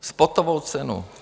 Spotovou cenu!